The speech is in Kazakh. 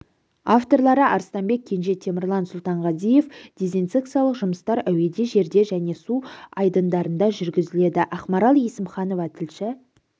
авторлары арыстанбек кенже темірлан сұлтанғазиев дезинсекциялық жұмыстар әуеде жерде және су айдындарында жүргізіледі ақмарал есімханова тілші